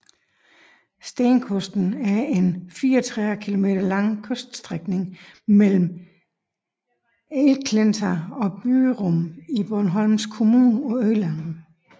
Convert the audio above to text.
Stenkusten er en 34 kilometer lang kyststrækning mellem Äleklinta og Byrum i Borgholms kommune på Øland